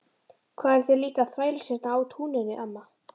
Hvað eruð þið líka að þvælast hérna á túninu amma?